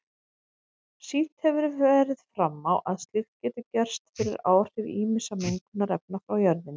Sýnt hefur verið fram á að slíkt getur gerst fyrir áhrif ýmissa mengunarefna frá jörðinni.